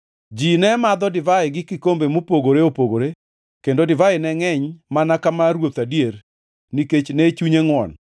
Ji ne madho divai gi kikombe mopogore opogore kendo divai ne ngʼeny mana ka mar ruoth adier nikech ne chunye ngʼwon.